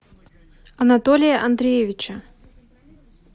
анатолия андреевича